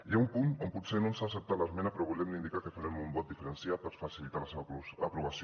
hi ha un punt on potser no ens ha acceptat l’esmena però li volem indicar que farem un vot diferenciat per facilitar la seva aprovació